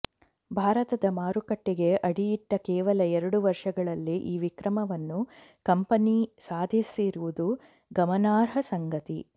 ಭಾರತದ ಮಾರುಕಟ್ಟೆಗೆ ಅಡಿಯಿಟ್ಟ ಕೇವಲ ಎರಡು ವರ್ಷಗಳಲ್ಲೇ ಈ ವಿಕ್ರಮವನ್ನು ಕಂಪನಿ ಸಾಧಿಸಿರುವುದು ಗಮನಾರ್ಹ ಸಂಗತಿ